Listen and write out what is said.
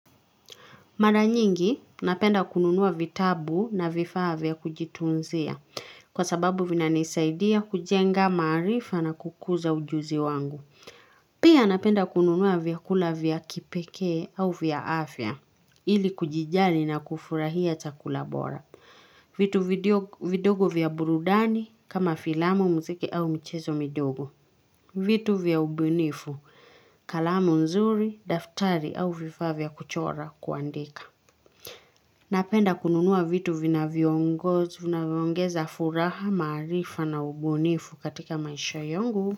Mara nyingi napenda kununua vitabu na vifaa vya kujitunzia kwa sababu vinanisaidia kujenga maarifa na kukuza ujuzi wangu. Pia napenda kununua vyakula vya kipekee au vya afya ili kujijali na kufurahia chakula bora. Vitu vidogo vya burudani kama filamu, mziki au michezo midogo. Vitu vya ubunifu, kalamu nzuri, daftari au vifaa vya kuchora kuandika. Napenda kununua vitu vinavyongo vinavyoongeza furaha maarifa na ubunifu katika maisha yangu.